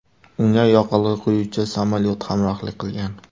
Unga yoqilg‘i quyuvchi samolyot hamrohlik qilgan.